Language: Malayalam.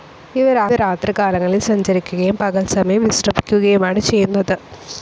ഇവ രാത്രി കാലങ്ങളിൽ സഞ്ചരിക്കയും പകൽ സമയം വിശ്രമിക്കയുമാണ് ചെയ്യുന്നത്.